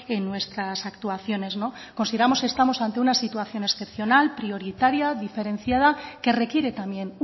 en nuestras actuaciones consideramos que estamos ante una situación excepcional prioritaria diferenciada que requiere también